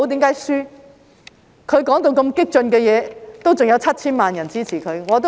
他說那麼激進的言論，仍有 7,000 萬人支持他。